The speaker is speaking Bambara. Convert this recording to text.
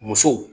Muso